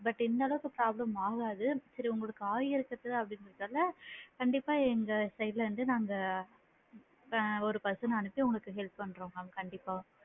இந்த அளவுக்கு problem ஆகாது சரி உங்களுக்கு ஆகிஇருக்குது அப்படிங்கறதுல கண்டிப்பா எங்க side ல இருந்து நாங்க ஆ ஒரு person ன அனுப்ச்சு உங்களுக்கு help பண்றோம் mam கண்டிப்பா உங்களுக்கு,